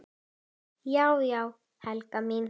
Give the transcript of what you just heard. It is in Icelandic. Já já, Helga mín.